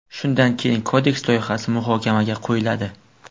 Shundan keyin Kodeks loyihasi muhokamaga qo‘yiladi.